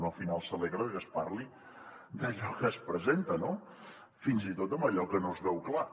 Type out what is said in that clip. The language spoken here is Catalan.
un al final s’alegra de que es parli d’allò que es presenta no fins i tot d’allò que no es veu clar